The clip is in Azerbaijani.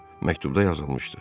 Məktubda yazılmışdı: